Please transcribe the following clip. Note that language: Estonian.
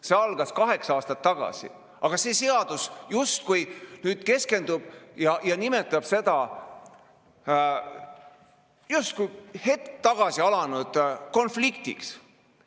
See algas kaheksa aastat tagasi, aga see seadus justkui nüüd keskendub ja nimetab seda justkui hetk tagasi alanud konfliktiks.